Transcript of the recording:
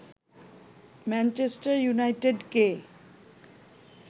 Manchester ইউনাইটেডকে